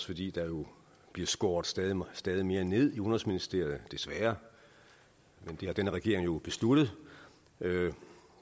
fordi der jo bliver skåret stadig mere stadig mere ned i udenrigsministeriet desværre men det har denne regering jo besluttet